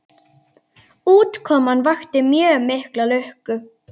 Útkoman vakti mjög mikla lukku.